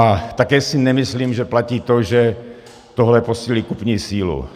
A také si nemyslím, že platí to, že tohle posílí kupní sílu.